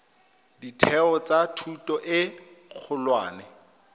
ditheo tsa thuto e kgolwane